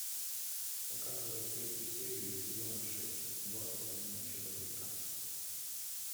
показывай третью серию сезона шесть два с половиной человека